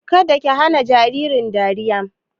Kada ki hana jaririn dariya!